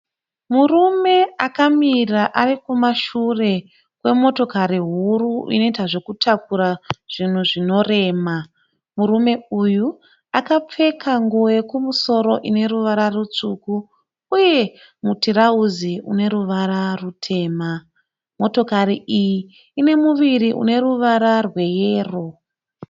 Murume akamira ari kumashure kwemotokari huru inoita zvekutakura zvinhu zvinorema. Murume uyu akapfeka nguwo yekumusoro ine ruvara rutsvuku uye mutirauzi une ruvara rutema. Motikari iyi ine muviri une ruvara rweyero.